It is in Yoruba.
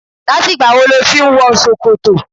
Láti ìgbà wo ló ti ń wọ ṣòkòtò?